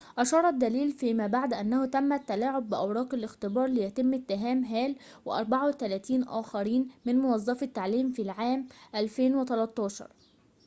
أشار الدليل فيما بعد أنه تم التلاعب بأوراق الاختبار ليتم اتهام هال و34 آخرين من موظفي التعليم في العام 2013